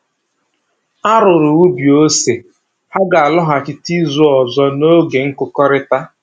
A rụrụ ubi ose, ha ga-alọghachita izu ọzọ n'oge nkụkọrịta